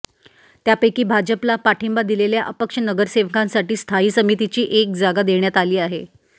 त्यापैकी भाजपला पाठिंबा दिलेल्या अपक्ष नगरसेवकांसाठी स्थायी समितीची एक जागा देण्यात आली आहे